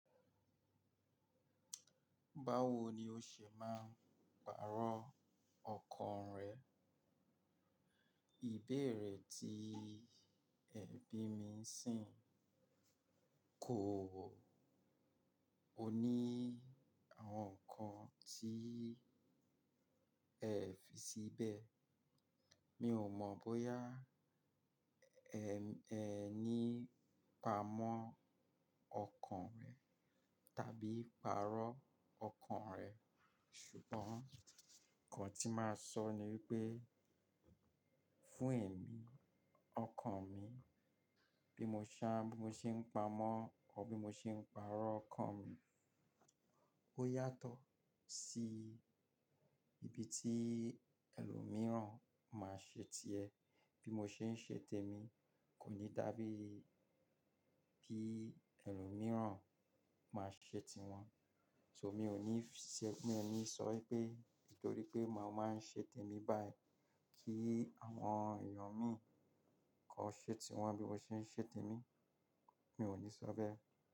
Báwo ni ó ṣe máa ń pàrọ̀ ọkàn rẹ? Ìbéèrè tí ẹbí mi sìn kò wọ̀. O ní àwọn nǹkan tí ẹ fi síbẹ̀. Mi ò mọ̀ bóyá ẹ ní pa mọ́ ọkàn tàbí pàrọ̀ ọkàn rẹ̀. Ṣùgbọ́n nǹkan tí màá sọ ni wípé, fún èmi, ọkàn mi bí mo ṣe ń pa mọ́ ọ bí mo ṣe ń pàrọ̀ ọkàn mi, ó yàtọ̀ sí ibi tí ẹlòmíràn máa ṣe ti ẹ. Bí mo ṣe ń ṣe tèmi kò ní dàbí bí ẹlòmíràn máa ṣe ti wọn. So mi ò ní sọ pé, nítorí pé màá máa ṣe tèmi báyìí kí àwọn èèyàn mi kọ ṣe tiwọn bí mo ṣe ń ṣe tèmi. Mi ò ní sọ bẹ́ẹ̀